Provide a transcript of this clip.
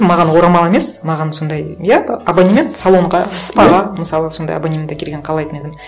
маған орамал емес маған сондай иә абонемент салонға спа ға мысалы сондай абонемент әкелгенін қалайтын едім